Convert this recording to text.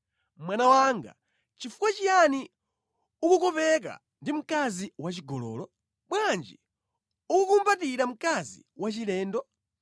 Mwana wanga, nʼchifukwa chiyani ukukopeka ndi mkazi wachigololo? Bwanji ukukumbatira mkazi wachilendo?